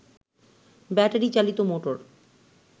battery চালিত motor